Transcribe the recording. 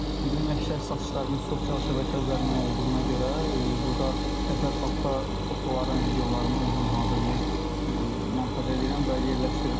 Bizim əksər satışlarımız sosial şəbəkə üzərindən olduğuna görə burda təsərrüfatda fotoların, videoların özüm hazırlayıb montaj edirəm və yerləşdirirəm.